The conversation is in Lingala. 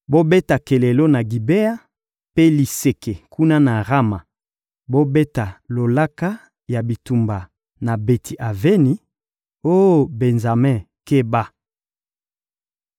Bobeta kelelo, na Gibea, mpe liseke, kuna na Rama! Bobeta lolaka ya bitumba na Beti-Aveni! Oh Benjame, keba!